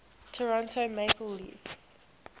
toronto maple leafs